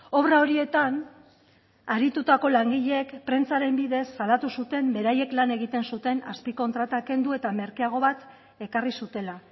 obra horietan aritutako langileek prentsaren bidez salatu zuten beraiek lan egiten zuten azpikontratak kendu eta merkeago bat ekarri zutela